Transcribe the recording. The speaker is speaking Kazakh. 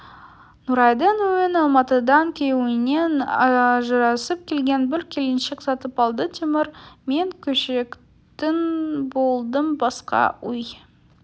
нұрайдың үйін алматыдан күйеуінен ажырасып келген бір келіншек сатып алды темір мен көшетін болдым басқа үй